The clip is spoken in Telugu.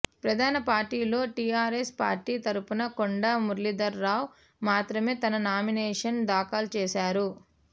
ప్రధాన పార్టీల్లో టిఆర్ఎస్ పార్టీ తరుపున కొండా మురళీధర్రావు మాత్రమే తన నామినేషన్ దాఖలు చేశారు